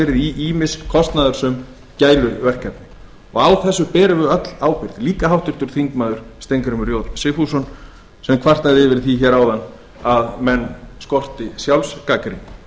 í ýmis kostnaðarsöm gæluverkefni og á þessu berum við öll ábyrgð líka háttvirtur þingmaður steingrímur j sigfússon sem kvartaði yfir því áðan að menn skorti sjálfsgagnrýni